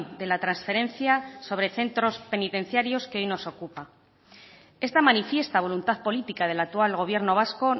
de la transferencia sobre centros penitenciarios que hoy nos ocupa esta manifiesta voluntad política del actual gobierno vasco